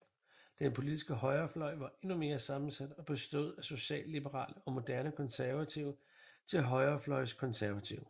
Den politiske højrefløj var endnu mere sammensat og bestod fra socialliberale og moderate konservative til højrefløjs konservative